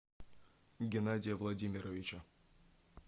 геннадия владимировича